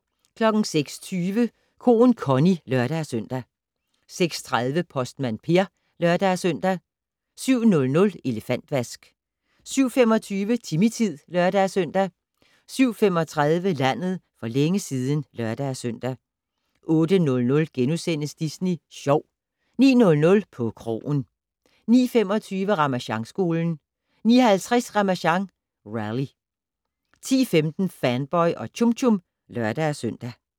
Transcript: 06:20: Koen Connie (lør-søn) 06:30: Postmand Per (lør-søn) 07:00: Elefantvask 07:25: Timmy-tid (lør-søn) 07:35: Landet for længe siden (lør-søn) 08:00: Disney Sjov * 09:00: På krogen 09:25: Ramasjangskolen 09:50: Ramasjang Rally 10:15: Fanboy og Chum Chum (lør-søn)